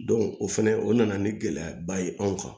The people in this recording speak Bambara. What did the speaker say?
o fɛnɛ o nana ni gɛlɛyaba ye anw kan